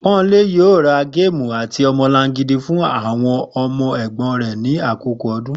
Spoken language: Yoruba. Pó̩nmilé yóò ra géèmù àti o̩mo̩langidi fún àwo̩n o̩mo̩ è̩gbó̩n rè̩ ní àkókò o̩dún